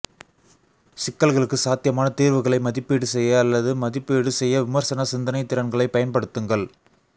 சிக்கல்களுக்கு சாத்தியமான தீர்வுகளை மதிப்பீடு செய்ய அல்லது மதிப்பீடு செய்ய விமர்சன சிந்தனை திறன்களைப் பயன்படுத்துங்கள்